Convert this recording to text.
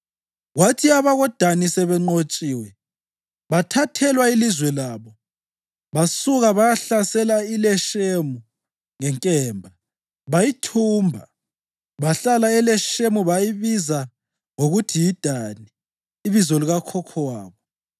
(Kwathi abakoDani sebenqotshiwe bathathelwa ilizwe labo, basuka bayahlasela iLeshemu ngenkemba, bayithumba. Bahlala eLeshemu bayibiza ngokuthi yiDani, ibizo likakhokho wabo.)